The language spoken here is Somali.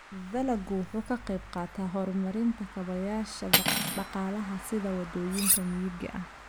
Dalaggu wuxuu ka qayb qaataa horumarinta kaabayaasha dhaqaalaha sida waddooyinka miyiga ah.